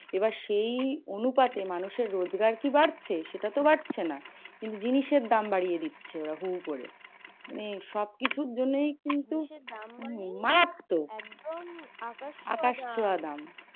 এবার সেই অনুপাতে মানুষের রোজগার কি বাড়ছে? সেটা তো বাড়ছে না। কিন্তু জিনিসের দাম বাড়িয়ে দিচ্ছে ওরা হু হু করে। মানে সবকিছুর জন্যও কিন্তু